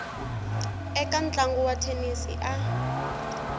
eka ntlangu wa thenisi a